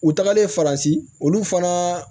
U tagalen faransi olu fana